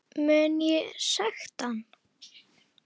Mun ég sekta hann?